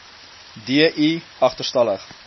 d i agterstallig